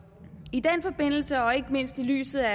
i den forbindelse og ikke mindst i lyset af